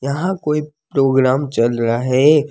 यहां कोई प्रोग्राम चल रहा है।